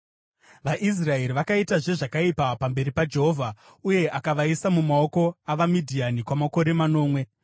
VaIsraeri vakaitazve zvakaipa pamberi paJehovha, uye akavaisa mumaoko avaMidhiani kwamakore manomwe.